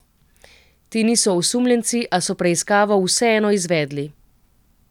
Ti niso osumljenci, a so preiskavo vseeno izvedli.